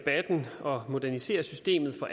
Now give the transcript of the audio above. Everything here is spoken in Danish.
uddannelses